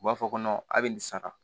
U b'a fɔ ko a bɛ nin sara